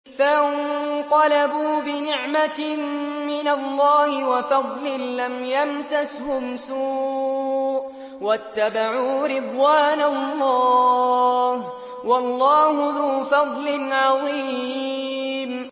فَانقَلَبُوا بِنِعْمَةٍ مِّنَ اللَّهِ وَفَضْلٍ لَّمْ يَمْسَسْهُمْ سُوءٌ وَاتَّبَعُوا رِضْوَانَ اللَّهِ ۗ وَاللَّهُ ذُو فَضْلٍ عَظِيمٍ